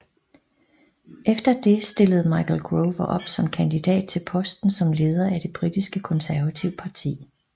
Efter det stillede Michael Gove op som kandidat til posten som leder af det britiske Konservative Parti